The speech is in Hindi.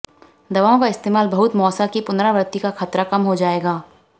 दवाओं का इस्तेमाल बहुत मौसा की पुनरावृत्ति का खतरा कम हो जाएगा